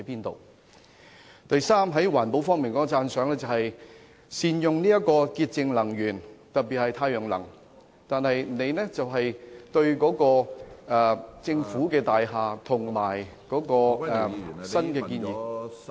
第三，在環保方面，我對善用潔淨能源，特別是太陽能的建議表示讚賞，但特首對政府大廈及新建議......